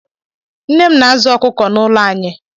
Nne m na-azụ̀ ọkụkọ n'ụlọ anyị.